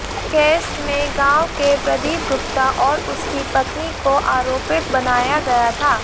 case में गांव के प्रदीप गुप्ता और उसकी पत्नी को आरोपित बनाया गया था